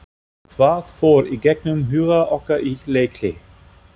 Hvað fór í gegnum huga okkar í leikhlé?